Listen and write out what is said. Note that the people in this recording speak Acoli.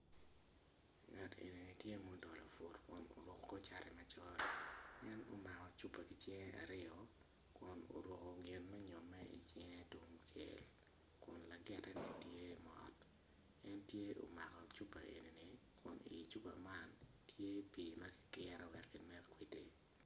Ngat enini tye ma odolo put kun oruko kor cat macol en omako cupa ki cinge aryo kun oruko gin me nyome icinge tung cel kun lagiteni tye mot en tye omako cupa eni ni icupa man tye pii ma ki kiro wek kinek kwiti